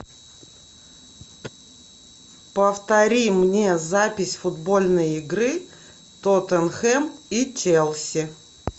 повтори мне запись футбольной игры тоттенхэм и челси